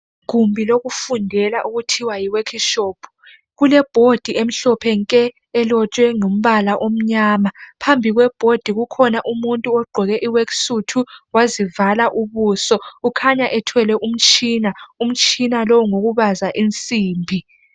Igumbi lokufundela okuthiwa yi workshop kule board emhlophe nke elotshwe ngombala omnyama phambi kwe board kukhona umuntu ogqoke I work suit wazivala ubuso ukhanya ethwele umtshina. Umtshina lo ngowokubaza insimbi